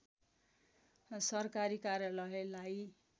सरकारी कार्यालयलाई